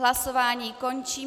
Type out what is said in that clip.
Hlasování končím.